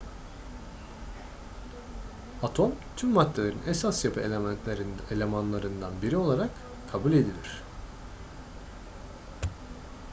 atom tüm maddelerin esas yapı elemanlarından biri olarak kabul edilir